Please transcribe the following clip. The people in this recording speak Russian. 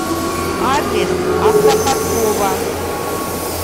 адрес автоподкова